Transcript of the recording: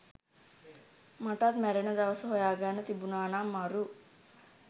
මටත් මැරෙන දවස හොයාගන්න තිබුනානම් මරු